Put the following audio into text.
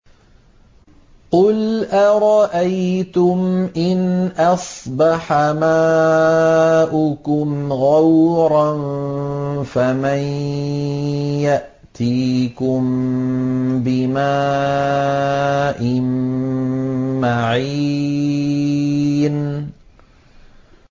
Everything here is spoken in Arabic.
قُلْ أَرَأَيْتُمْ إِنْ أَصْبَحَ مَاؤُكُمْ غَوْرًا فَمَن يَأْتِيكُم بِمَاءٍ مَّعِينٍ